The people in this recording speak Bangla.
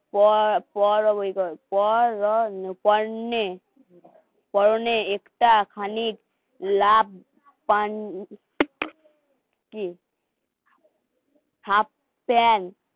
পান কি হাফ প্যান্ট কি